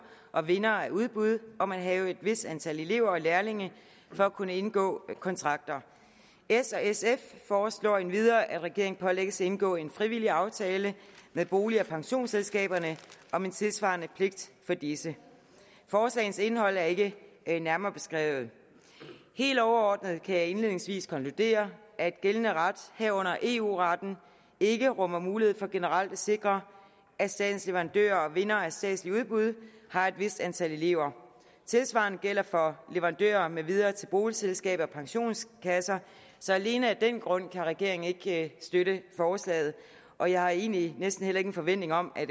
og vindere af udbud om at have et vist antal elever og lærlinge for at kunne indgå kontrakter s og sf foreslår endvidere at regeringen pålægges at indgå en frivillig aftale med bolig og pensionsselskaberne om en tilsvarende pligt for disse forslagenes indhold er ikke nærmere beskrevet helt overordnet kan jeg indledningsvis konkludere at gældende ret herunder eu retten ikke rummer mulighed for generelt at sikre at statens leverandører og vindere af statslige udbud har et vist antal elever tilsvarende gælder for leverandører med videre til boligselskaber og pensionskasser så alene af den grund kan regeringen ikke støtte forslaget og jeg har egentlig næsten heller ingen forventninger om at